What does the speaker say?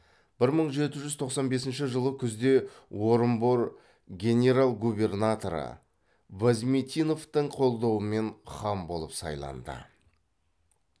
бір мың жеті жүз тоқсан бесінші жылы күзде орынбор генерал губернаторы вязмитиновтың қолдауымен хан болып сайланды